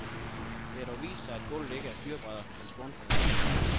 Det har dog vist sig, at gulvet ikke er fyrrebrædder, men spånplader.